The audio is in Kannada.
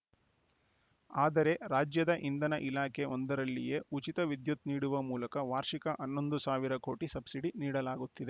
ಆದರೆ ರಾಜ್ಯದ ಇಂಧನ ಇಲಾಖೆ ಒಂದರಲ್ಲಿಯೇ ಉಚಿತ ವಿದ್ಯುತ್‌ ನೀಡುವ ಮೂಲಕ ವಾರ್ಷಿಕ ಹನ್ನೊಂದು ಸಾವಿರ ಕೋಟಿ ಸಬ್ಸಿಡಿ ನೀಡಲಾಗುತ್ತಿದೆ